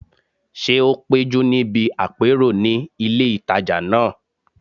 Ṣé o péjú níbi àpérò ní ilé ìtajà náà?